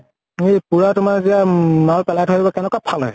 এই পুৰা তোমাৰ যেতিয়া মাল পেলাই থৈ আহিব, কেনেকুৱা ফালে।